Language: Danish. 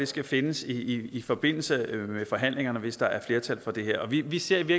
skal findes i i forbindelse med forhandlingerne hvis der er flertal for det her vi vi ser vi